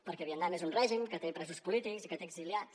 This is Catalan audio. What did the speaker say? perquè vietnam és un règim que té presos polítics i que té exiliats